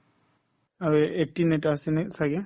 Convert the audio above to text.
আৰু এই eighteen এটা আছে নে ছাগে